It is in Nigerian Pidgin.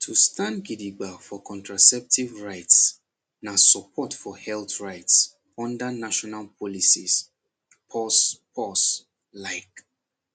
to stand gidigba for contraceptive rights na support for health rights under national policies pause pause like